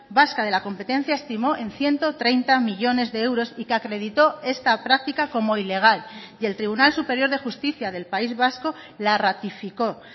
vasca de la competencia estimó en ciento treinta millónes de euros y que acreditó esta práctica como ilegal y el tribunal superior de justicia del país vasco la ratificó